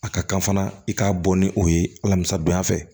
A ka kan fana i k'a bɔ ni o ye alamisa donya fɛ